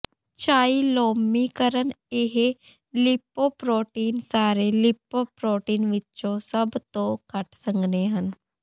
chylomicron ਇਹ lipoprotein ਸਾਰੇ lipoprotein ਵਿੱਚੋਂ ਸਭ ਤੋਂ ਘੱਟ ਸੰਘਣੇ ਹਨ